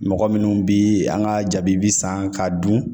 Mɔgɔ minnu bi an ka jaabi bi san k'a dun